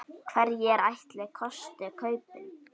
Hverjir ætli kosti kaupin?